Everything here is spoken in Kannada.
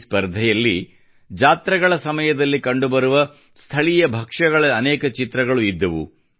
ಈ ಸ್ಪರ್ಧೆಯಲ್ಲಿ ಜಾತ್ರೆಗಳ ಸಮಯದಲ್ಲಿ ಕಂಡುಬರುವ ಸ್ಥಳೀಯ ಭಕ್ಷ್ಯಗಳ ಅನೇಕ ಚಿತ್ರಗಳು ಇದ್ದವು